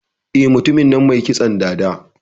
Eh, Mutumin nan mai kitson dada.